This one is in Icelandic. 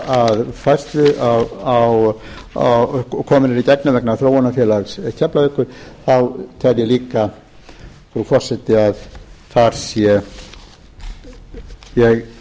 lúta að færslu á og komin eru í gegn vegna þróunarfélags keflavíkurflugvallar tel ég líka frú forseti að þar séum við